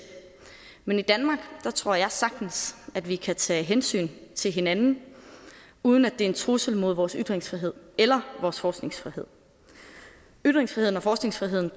men i danmark tror jeg sagtens at vi kan tage hensyn til hinanden uden at det er en trussel mod vores ytringsfrihed eller vores forskningsfrihed ytringsfriheden og forskningsfriheden